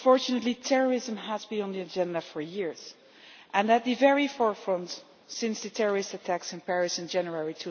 Unfortunately, terrorism has been on the agenda for years and at the very forefront since the terrorist attacks in Paris in January